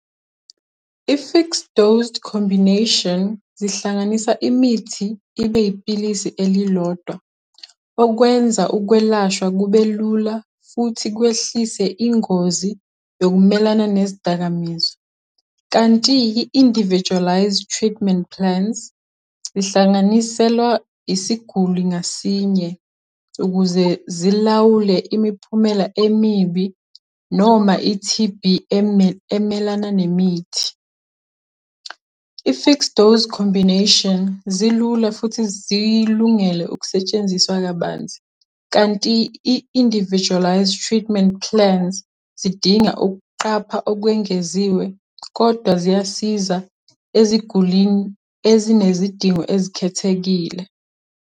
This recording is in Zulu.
I-fixed-dose combination, zihlanganisa imithi, ibe iphilisi elilodwa, okwenza ukwelashwa kubelula, futhi kwehlise ingozi yokumelana nezidakamizwa. Kanti i-individualized treatment plans, zihlanganiselwa isiguli ngasinye, ukuze zilawule imiphumela emibi. noma i-T_B emelana nemithi. I-fixed dose combination zilula futhi zilungele ukusetshenziswa kabanzi, kanti i-individualized treatment plans, zidinga ukuqapha okwengeziwe, kodwa ziyasiza ezigulini ezinezidingo ezikhethekile.